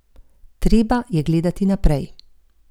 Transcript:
Treba je gledati naprej.